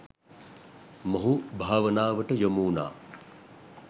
මොහු භාවනාවට යොමු වුණා.